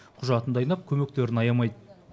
құжатын дайындап көмектерін аямайды